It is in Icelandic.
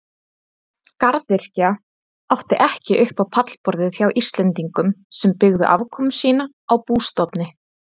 Garðyrkja átti ekki upp á pallborðið hjá Íslendingum sem byggðu afkomu sína á bústofni.